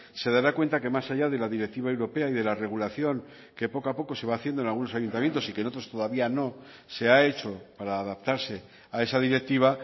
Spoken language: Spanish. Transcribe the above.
se dará cuenta que más allá de la directiva europea y de la regulación que poco a poco se va haciendo en algunos ayuntamientos y que en otros todavía no se ha hecho para adaptarse a esa directiva